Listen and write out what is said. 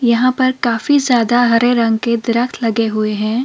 यहां पर काफी ज्यादा हरे रंग के दरख्त लगे हुए हैं।